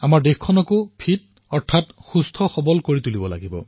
দেশক ফিট কৰি ৰাখিব লাগিব